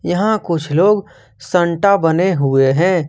यहां कुछ लोग सेंटा बने हुए हैं।